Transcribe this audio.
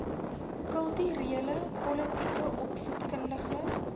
kulturele politieke opvoedkundige